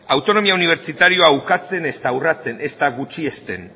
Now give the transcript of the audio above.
autonomia unibertsitarioa ukatzen ezta urratzen ezta gutxiesten